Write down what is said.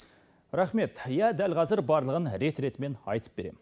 рахмет иә дәл қазір барлығын рет ретімен айтып берем